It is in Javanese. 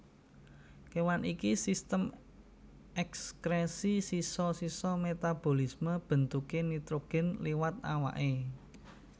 Kewan iKi Sistem ekskresi sisa sisa metabolisme bentuké nitrogen liwat awaké